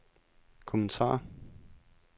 kommentar